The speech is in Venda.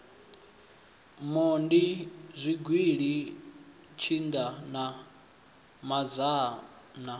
mondi zwigili tshinda na mazhana